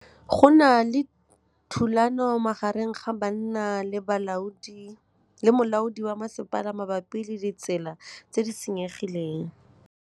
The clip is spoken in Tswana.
Go na le thulanô magareng ga banna le molaodi wa masepala mabapi le ditsela tse di senyegileng.